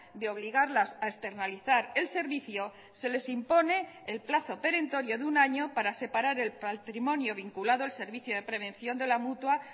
de obligarlas a externalizar el servicio se les impone el plazo perentorio de un año para separar el patrimonio vinculado el servicio de prevención de la mutua